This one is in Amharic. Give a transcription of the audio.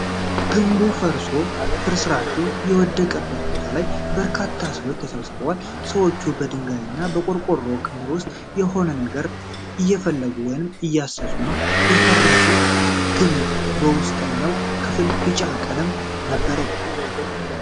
ግንቡ ፈርሶ ፍርስራሹ የወደቀበት ቦታ ላይ በርካታ ሰዎች ተሰብስበዋል። ሰዎች በድንጋይና በቆርቆሮ ክምር ውስጥ የሆነ ነገር እየፈለጉ ወይም እያነሱ ነው። የፈረሰው ግምብ የውስተጠኛው ክፍል ቢጫ ቀለም ነበረው።